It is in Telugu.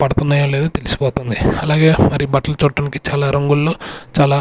పడుతున్నాయో లేదో తెలిసిపోతుంది అలాగే మరి బట్టలు చూడటానికి చాలా రంగుళ్లు చాలా.